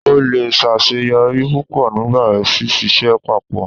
O le ṣaṣeyọri pupọ nipa síṣiṣẹ pápọ